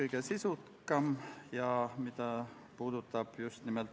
Me saame minna lõpphääletuse juurde.